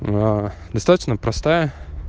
достаточно простая